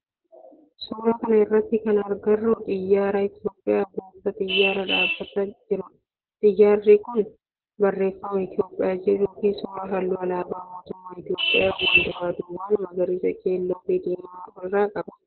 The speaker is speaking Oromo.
suuraa kana irratti kan agarru xiyyaara Itiyoophiyaa buufata xiyyaaraa dhaabbatee jirudha. Xiyyaarri kun barreefama Itiyoophiyaa jedhu fi suuraa halluu alaabaa mootummaa Itiyoophiyaa wal duraa duuban magariisa, keelloo fi diimaa of irraa qaba.